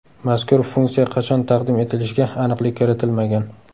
Mazkur funksiya qachon taqdim etilishiga aniqlik kiritilmagan.